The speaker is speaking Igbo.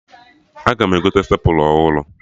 Aga m egote stepla ọhụrụ